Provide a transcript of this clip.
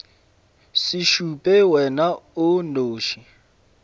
se šupe wena o nnoši